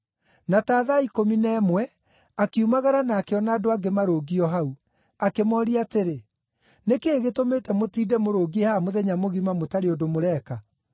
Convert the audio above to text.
Na ta thaa ikũmi na ĩmwe, akiumagara na akĩona andũ angĩ marũngiĩ o hau. Akĩmooria atĩrĩ, ‘Nĩ kĩĩ gĩtũmĩte mũtinde mũrũngiĩ haha mũthenya mũgima mũtarĩ ũndũ mũreka?’